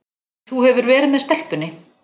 Þú hefur verið með stelpunni.